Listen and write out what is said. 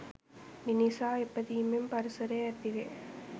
මිනිසා ඉපදීමෙන් පරිසරය ඇතිවේ